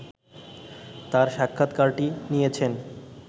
তাঁর সাক্ষাৎকারটি নিয়েছেন